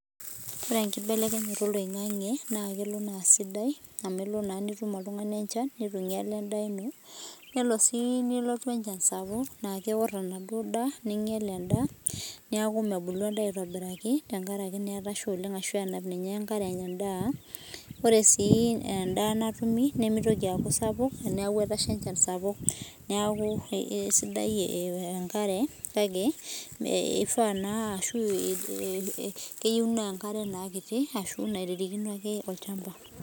ore enkibelekenyata oloingange naa sidai naa torono sii amuu kelo nesha enchan sapuk ninyal endaa nelo sii nesha enaitobir aa taa miinyal endaa ore sii doi endaa natumi nimitoki sii aaku sapuk naa keyiou naa enkare ake nairirikino olchamba eyiouni